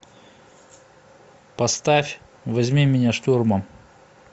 поставь возьми меня штурмом